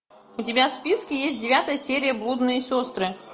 у тебя в списке есть девятая серия блудные сестры